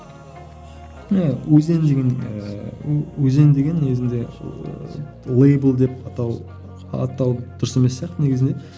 өзен деген ііі өзен деген негізінде лэйбл деп атау атау дұрыс емес сияқты негізінен